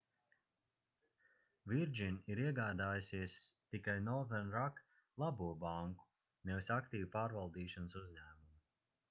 virgin ir iegādājusies tikai northern rock labo banku nevis aktīvu pārvaldīšanas uzņēmumu